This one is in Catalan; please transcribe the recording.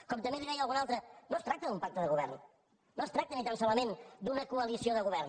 com també li deia algú altre no es tracta d’un pacte de govern no es tracta ni tan solament d’una coalició de govern